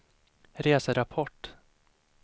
reserapport